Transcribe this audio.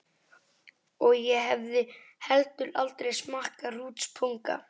Og ég hefði heldur aldrei smakkað hrútspunga.